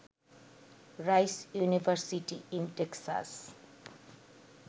rice University in Texas